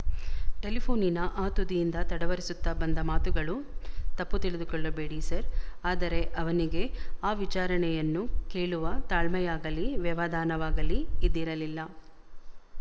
ಟೆಲಿಫೋ ನಿನ ಆ ತುದಿಯಿಂದ ತಡವರಿಸುತ್ತ ಬಂದ ಮಾತುಗಳು ತಪ್ಪು ತಿಳಕೊಳ್ಳಬೇಡಿ ಸರ್ ಆದರೆ ಅವನಿಗೆ ಆ ವಿಚಾರಣೆಯನ್ನು ಕೇಳುವ ತಾಳ್ಮೆಯಾಗಲೀ ವ್ಯವಧಾನವಾಗಲೀ ಇದ್ದಿರಲಿಲ್ಲ